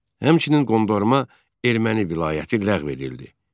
Həmçinin Qondarma Erməni vilayəti ləğv edildi.